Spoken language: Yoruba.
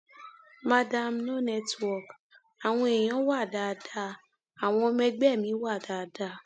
mandarin no network àwọn èèyàn wá dáadáa àwọn ọmọ ẹgbẹ mi wá dáadáa